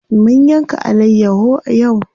Mun yanka alayyaho yau.